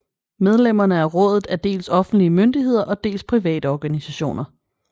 Medlemmerne af rådet er dels offentlige myndigheder og dels private organisationer